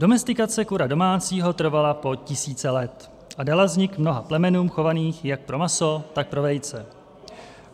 Domestikace kura domácího trvala po tisíce let a dala vznik mnoha plemenům chovaným jak pro maso, tak pro vejce.